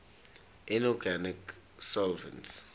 inorganic solvents